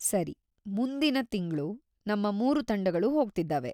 ಸರಿ. ಮುಂದಿನ ತಿಂಗ್ಳು ನಮ್ಮ ಮೂರು ತಂಡಗಳು ಹೋಗ್ತಿದ್ದಾವೆ.